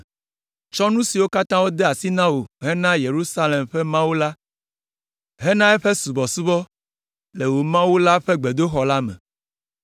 Tsɔ nu siwo katã wode asi na wò hena Yerusalem ƒe Mawu la hena eƒe subɔsubɔ le wò Mawu la ƒe gbedoxɔ la me.